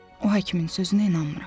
O həkimin sözünə inanmıram.